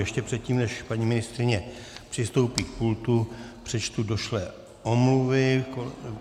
Ještě předtím, než paní ministryně přistoupí k pultu, přečtu došlé omluvy.